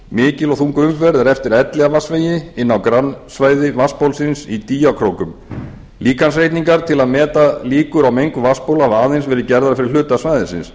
mikil og þung umferð er eftir elliðavatnsvegi inn á grannsvæði vatnsbólsins í dýjakrókum líkansreikningar til að meta líkur á mengun vatnsbóla hafa aðeins verið gerðar fyrir hluta svæðisins